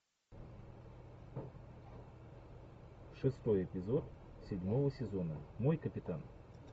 шестой эпизод седьмого сезона мой капитан